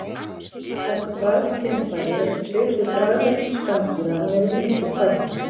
Þessi bragðskynfæri eru svipuð bragðlaukum spendýra en eru miklu færri.